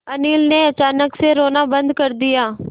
अनिल ने अचानक से रोना बंद कर दिया